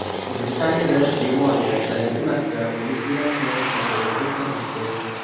Britaniyada bemorga birinchi marta o‘lik yurakni ko‘chirib o‘tkazishdi.